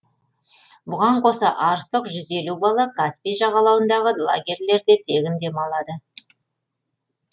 бұған қоса арыстық жүз елу бала каспий жағалауындағы лагерлерьде тегін демалады